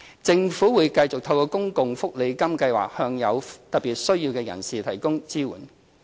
政府會繼續透過公共福利金計劃向有特別需要的人士提供支援。